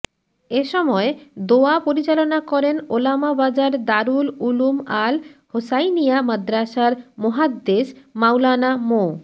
এসময় দোয়া পরিচালনা করেন ওলামা বাজার দারুল উলুম আল হোসাইনিয়া মাদ্রাসার মোহাদ্দেস মাওলানা মো